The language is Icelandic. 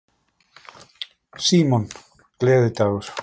Símon: Gleðidagur?